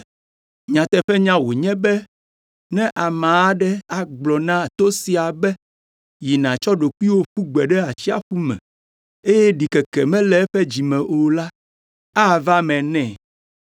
Nyateƒenya wònye be ne ame aɖe agblɔ na to sia be, ‘Yi, nàtsɔ ɖokuiwò ƒu gbe ɖe atsiaƒu me’ eye ɖikeke mele eƒe dzi me o la, ava eme nɛ.